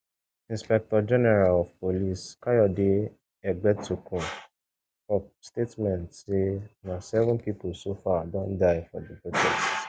inspectorgeneral of police kayode egbetokun for statement say na seven pipo so far don die for di protests